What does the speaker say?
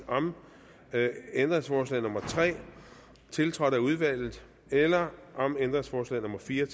om ændringsforslag nummer tre tiltrådt af udvalget eller om ændringsforslag nummer fire